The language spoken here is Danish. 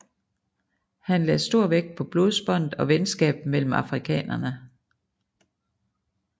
Han lagde stor vægt på blodsbåndet og venskabet mellem afrikanerne